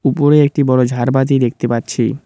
উপরে একটি বড় ঝাড়বাতি দেখতে পাচ্ছি।